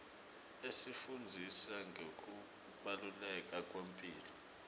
asifundzisa ngekubaluleka kwemphilo